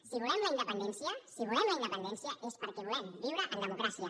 si volem la independència si volem la independència és perquè volem viure en democràcia